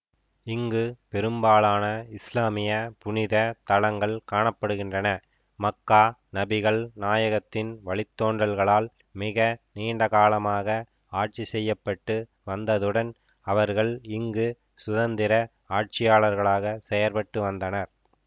இங்கு பெரும்பாலான இஸ்லாமிய புனித தலங்கள் காண படுகின்றன மக்கா நபிகள் நாயகத்தின் வழித்தோன்றல்களால் மிக நீண்டகாலமாக ஆட்சிசெய்யப்பட்டு வந்ததுடன் அவர்கள் இங்கு சுதந்திர ஆட்சியாளர்களாக செயற்பட்டுவந்தனர்